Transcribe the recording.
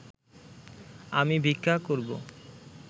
আমি ভিক্ষা করিব